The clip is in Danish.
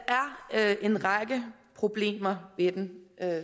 er en række problemer ved den